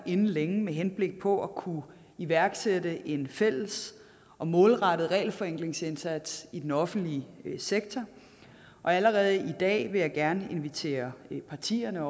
inden længe med henblik på at kunne iværksætte en fælles og målrettet regelforenklingsindsats i den offentlige sektor allerede i dag vil jeg gerne invitere partierne